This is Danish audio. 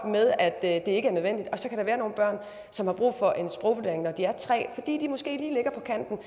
med at det ikke er nødvendigt og så kan der være nogle børn som har brug for en sprogvurdering når de er tre år fordi de måske lige ligger på kanten